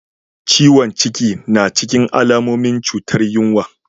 Ciwon cikin na cikin alamomin cutar yinwa.